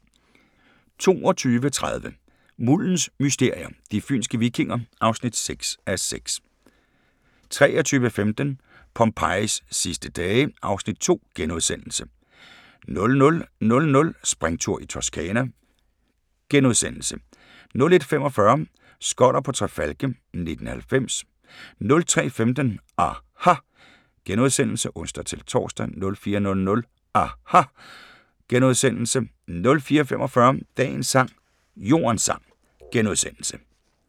22:30: Muldens mysterier – de fynske vikinger (6:6) 23:15: Pompejis sidste dage (Afs. 2)* 00:00: Springtur i Toscana * 01:45: Skoller på Tre Falke 1990 03:15: aHA! *(ons-tor) 04:00: aHA! * 04:45: Dagens sang: Jordens sang *